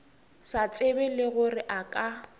sa tsebego le gore a